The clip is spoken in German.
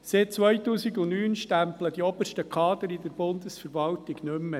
Seit 2009 stempeln die obersten Kader in der Bundesverwaltung nicht mehr.